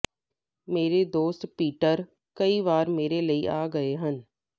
ਮੇਰੇ ਦੋਸਤ ਪੀਟਰ ਕਈ ਵਾਰ ਮੇਰੇ ਲਈ ਆ ਗਏ ਹਨ